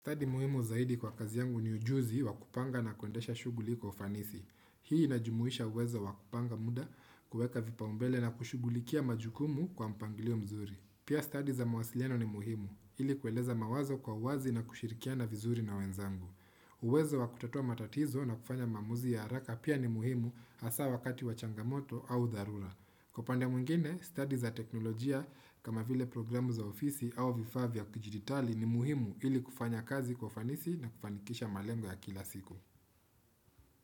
Stadhi muhimu zaidi kwa kazi yangu ni ujuzi wa kupanga na kundesha shughuli kwa ufanisi. Hii inajumuisha uwezo wakupanga muda kueka vipaumbele na kushugulikia majukumu kwa mpangilio mzuri. Pia stadhi za mawasiliano ni muhimu, ili kueleza mawazo kwa uwazi na kushirikia na vizuri na wenzangu. Uwezo wa kutatua matatizo na kufanya maamuzi ya haraka pia ni muhimu hasa wakati wa changamoto au dharura. Kwa upande mwengine, stadi za teknolojia kama vile programu za ofisi au vifaa vya kijiditali ni muhimu ili kufanya kazi kwa ufanisi na kufanikisha malengo ya kila siku.